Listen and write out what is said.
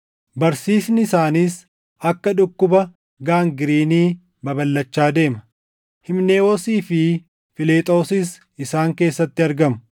Barsiisni isaaniis akka dhukkuba gaangiriinii + 2:17 Dhukkuba madaan isaa hin fayyine. babalʼachaa deema. Himenewoosii fi Filexoosis isaan keessatti argamu;